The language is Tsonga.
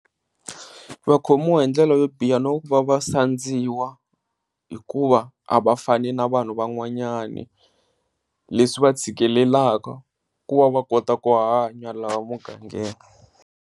Va khomiwa hi ndlela yo biha na ku va va sandziwa hikuva a va fani na vanhu van'wanyani leswi va tshikelelaka ku va va kota ku hanya laha mugangeni.